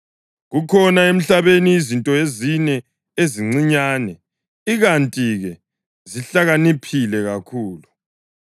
Kukhona emhlabeni izinto ezine ezincinyane, ikanti-ke zihlakaniphile kakhulu: